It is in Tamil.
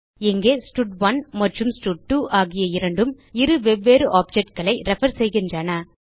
இங்கே ஸ்டட்1 மற்றும் ஸ்டட்2 ஆகிய இரண்டும் இரு வெவ்வேறு objectகளை ரெஃபர் செய்கின்றன